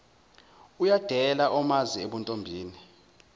uyadela omazi ebuntombini